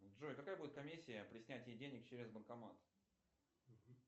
джой какая будет комиссия при снятии денег через банкомат